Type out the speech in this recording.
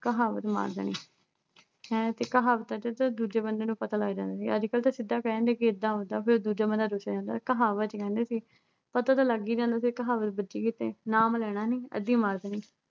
ਕਹਾਵਤ ਮਾਰ ਦੇਣੀ। ਹੈ ਤੇ ਕਹਾਵਤਾਂ ਤੇ ਤਾਂ ਦੂਜੇ ਬੰਦੇ ਨੂੰ ਪਤਾ ਲੱਗ ਜਾਂਦਾ ਸੀ ਅੱਜਕੱਲ ਤਾਂ ਸਿੱਧਾ ਕਹਿ ਦਿੰਦੇ ਕਿ ਏਦਾਂ ਹੁੰਦਾ ਫਿਰ ਦੂਜਾ ਬੰਦਾ ਕਹਾਵਤ ਕਹਿੰਦੇ ਸੀ ਪਤਾ ਤਾਂ ਲੱਗ ਹੀ ਜਾਂਦਾ ਸੀ ਕਹਾਵਤ ਵੱਜੀ ਕਿੱਥੇ ਨਾਮ ਲੈਣਾ ਨੀ ਅੱਧੀ ਮਾਰ ਦੇਣੀ